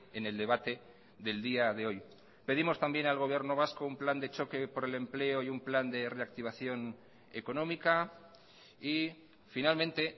en el debate del día de hoy pedimos también al gobierno vasco un plan de choque por el empleo y un plan de reactivación económica y finalmente